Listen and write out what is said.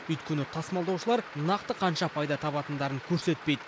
өйткені тасымалдаушылар нақты қанша пайда табатындарын көрсетпейді